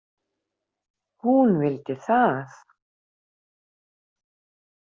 Hún vildi það.